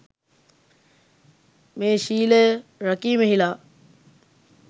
මේ ශීලය රැකීමෙහි ලා